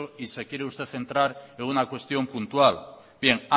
y se quiere usted central en una cuestión puntual bien